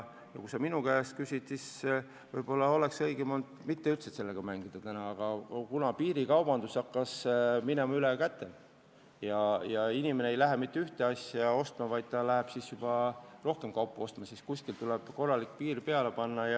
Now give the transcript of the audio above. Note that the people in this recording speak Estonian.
Ja kui sa minu käest küsid, siis ütlen, et võib-olla oleks õigem olnud üldse mitte selle teemaga mängida, aga kuna piirikaubandus hakkas üle käte minema ja inimene ei lähe piiri taha mitte ühte asja hankima, vaid ostab siis juba rohkem kaupa, siis kuidagi tuleb korralik piir ette tõmmata.